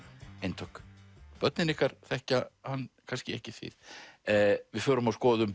eintök börnin ykkar þekkja hann kannski ekki þið við förum og skoðum